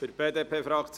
Die BDP hat